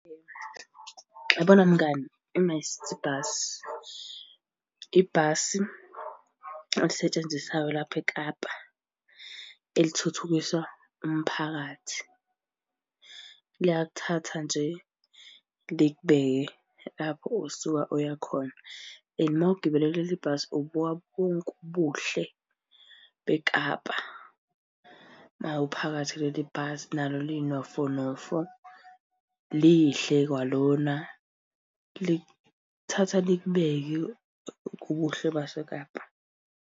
Uyabona mngani, i-MyCiti Bus, ibhasi elisetshenziswayo lapho eKapa, elithuthukisa umphakathi. Liyakuthatha nje, likubeke lapho osuka uya khona and uma ugibele kuleli bhasi ubuka bonke ubuhle beKapa. Uma uphakathi kuleli bhasi nalo linofonofo. Lihle kwalona likuthatha likubeke kubuhle baseKapa.